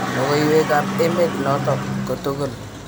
Logoiyweik ap emet notok ko tugul